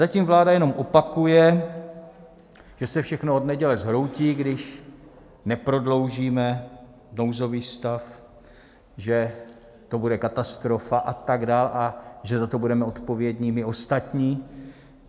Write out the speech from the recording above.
Zatím vláda jenom opakuje, že se všechno od neděle zhroutí, když neprodloužíme nouzový stav, že to bude katastrofa a tak dál, a že za to budeme odpovědní my ostatní.